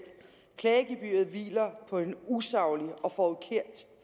klagegebyret hviler på en usaglig og forkert